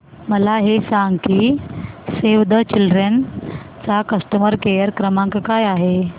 मला हे सांग की सेव्ह द चिल्ड्रेन चा कस्टमर केअर क्रमांक काय आहे